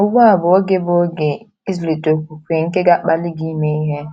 Ugbu a bụ oge bụ oge ịzụlite okwukwe nke ga - akpali gị ime ihe.